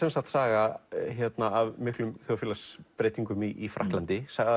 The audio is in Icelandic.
saga af miklum þjóðfélagsbreytingum í Frakklandi sögð